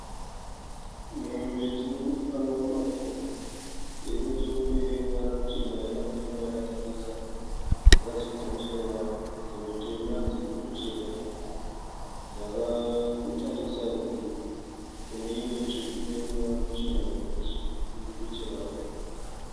Mombe dzirikufamba mumafuro. Irinechekumberi ine ruvara ruchena yakamira yakatarisa yakasimudza musoro wayo. Dzimwe tema dzirikuchera dzakatarisa kune imwe tsvuku ineruvara ruchena kumeso irikutocherawo.